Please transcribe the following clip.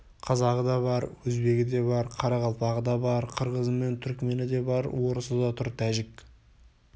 қазағы да бар өзбегі де бар қарақалпағы да бар қырғызы мен түрікмені де бар орысы да тұр тәжік